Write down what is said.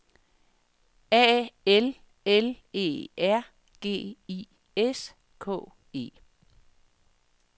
A L L E R G I S K E